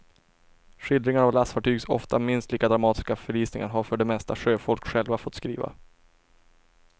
Skildringar av lastfartygs ofta minst lika dramatiska förlisningar har för det mesta sjöfolk själva fått skriva.